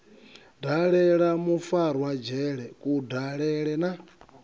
dalela mufarwa dzhele kudalele na